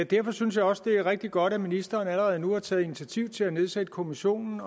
derfor synes jeg også det er rigtig godt at ministeren allerede nu har taget initiativ til at nedsætte kommissionen